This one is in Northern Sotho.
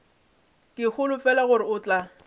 ke holofela gore o tla